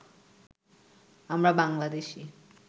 আমরা বাংলাদেশী